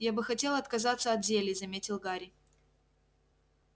я бы хотел отказаться от зелий заметил гарри